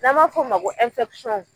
Na ma f'o ma ko